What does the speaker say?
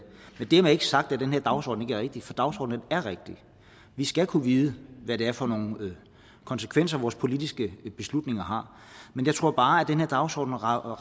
dermed ikke sagt at den her dagsorden ikke er rigtig for dagsordenen vi skal kunne vide hvad det er for nogle konsekvenser vores politiske beslutninger har men jeg tror bare at den her dagsorden rækker